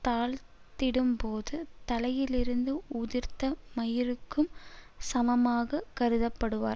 தாழ்ந்திடும்போது தலையிலிருந்து உதிர்ந்த மயிருக்குச் சமமாகக் கருதப்படுவார்